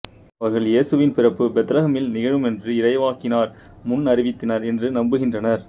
அவர்கள் இயேசுவின் பிறப்பு பெத்லகேமில் நிகழுமென்று இறைவாக்கினர் முன்னறிவித்தனர் என்று நம்புகின்றனர்